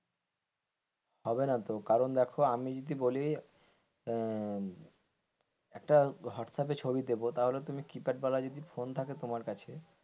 হবে না তো কারণ আমি দেখো যদি বলি আঃ একটা হোয়াটসঅ্যাপে ছবি দেবো তাহলে তুমি কিপ্যাড ওয়ালা যদি ফোন থাকে তোমার কাছে,